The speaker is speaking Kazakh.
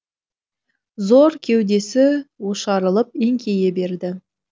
зор кеудесі ошарылып еңкейе берді